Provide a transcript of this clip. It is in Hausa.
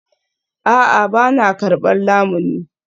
A'a, ba na karbar lamuni